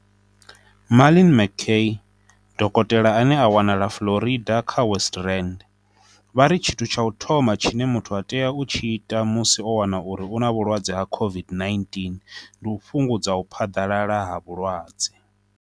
Marlin McCay, dokotela ane a wanala Florida kha West Rand, vha ri tshithu tsha u thoma tshine muthu a tea u tshi ita musi o wana uri u na vhulwadze ha COVID-19 ndi u fhungudza u phaḓalala ha vhulwadze.